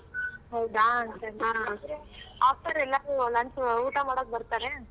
ಹೌದಾ after ಎಲ್ಲ lunch ಊಟ ಮಾಡೋಕ್ ಬರ್ತಾರೆ.